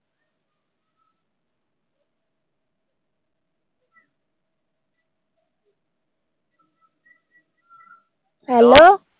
Hello